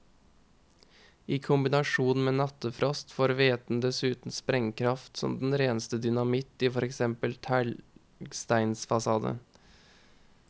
I kombinasjon med nattefrost får væten dessuten sprengkraft som den reneste dynamitt i for eksempel en teglstensfasade.